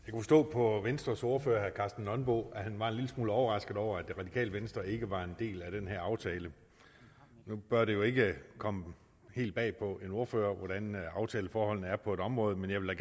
på venstres ordfører herre karsten nonbo at han var en lille smule overrasket over at det radikale venstre ikke var en del af den her aftale nu bør det jo ikke komme helt bag på en ordfører hvordan aftaleforholdene er på et område men jeg vil